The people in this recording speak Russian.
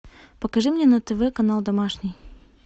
покажи мне на тв канал домашний